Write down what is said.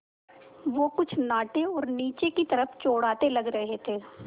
वो कुछ नाटे और नीचे की तरफ़ चौड़ाते लग रहे थे